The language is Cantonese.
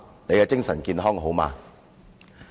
你的精神健康好嗎？